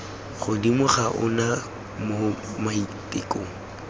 godimo ga ona mo maitekong